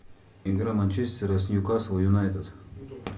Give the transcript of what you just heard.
игра манчестера с ньюкасл юнайтед